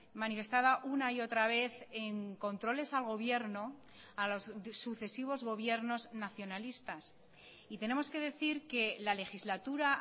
manifestada una y otra vez en controles al gobierno a los sucesivos gobiernos nacionalistas y tenemos que decir que la legislatura